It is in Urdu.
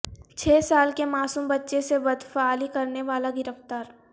چھ سال کے معصوم بچے سے بدفعلی کرنے والا گرفتار